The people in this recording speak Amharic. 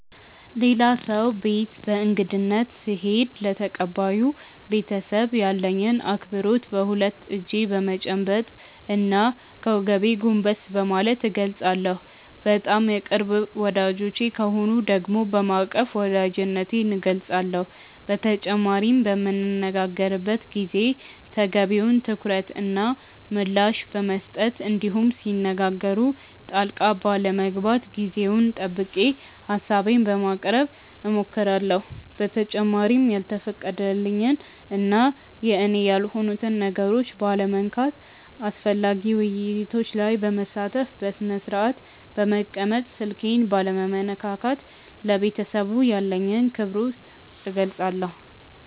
ሌላ ሰው ቤት በእንግድነት ስሄድ ለተቀባዩ ቤተሰብ ያለኝን አክብሮት በሁለት እጄ በመጨበጥ እና ከወገቤ ጎንበስ በማለት እገልፃለሁ። በጣም የቅርብ ወዳጆቼ ከሆኑ ደግሞ በማቀፍ ወዳጅነቴን እገልፃለሁ። በተጨማሪም በምንነጋገርበት ጊዜ ተገቢውን ትኩረት እና ምላሽ በመስጠት እንዲሁም ሲነጋገሩ ጣልቃ ባለመግባት ጊዜውን ጠብቄ ሀሳቤን በማቅረብ እሞክራለሁ። በተጨማሪም ያልተፈቀደልኝን እና የኔ ያልሆኑትን ነገሮች ባለመንካት፣ አስፈላጊ ውይይቶች ላይ በመሳተፍ፣ በስነስርአት በመቀመጥ፣ ስልኬን ባለመነካካት ለቤተሰቡ ያለኝን አክብሮት እገልፃለሁ።